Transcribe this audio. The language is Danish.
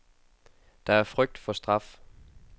Det er frygt for straf.